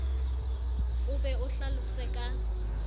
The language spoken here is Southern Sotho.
o be o hlalose ka